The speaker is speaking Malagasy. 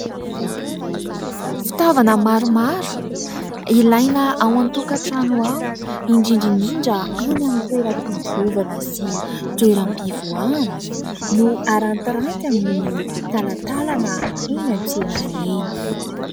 Fitaovana maromaro ilaina ao an-tokatrano ao, indrindra indrindra ilaina amin'ny toeram-pidiovana sy toeram-pivoahana no arantiranty amin'ny talantalana eny an-tsena eny.